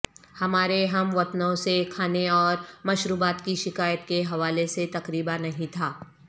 ہمارے ہم وطنوں سے کھانے اور مشروبات کی شکایات کے حوالے سے تقریبا نہیں تھا